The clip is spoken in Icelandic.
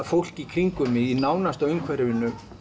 fólk í kringum mig í nánasta umhverfi